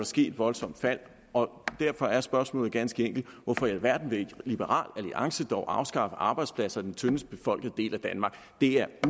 ske et voldsomt fald derfor er spørgsmålet ganske enkelt hvorfor i alverden vil liberal alliance dog afskaffe arbejdspladser i den tyndest befolkede del af danmark det er